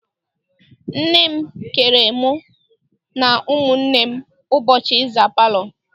Nne m keere mụ na ụmụnne ụbọchị ịza palọ.